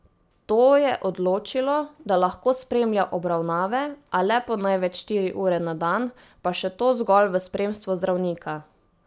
To je odločilo, da lahko spremlja obravnave, a le po največ štiri ure na dan, pa še to zgolj v spremstvu zdravnika.